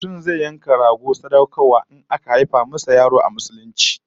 Mutum zai yanka rago sadaukarwa in aka haifa masa yaro a Musulunci